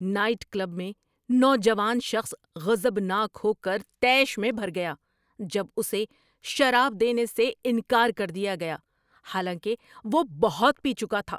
Night club میں نوجوان شخص غضبناک ہو کر طیش میں بھر گیا جب اسے شراب دینے سے انکار کر دیا گیا حالانکہ وہ بہت پی چکا تھا۔